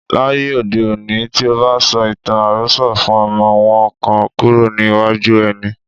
Láyé òde òní, tí o bá sọ ìtàn àròsọ fún ọmọ, wọn á kàn kúrò ní iwájú ẹ ni.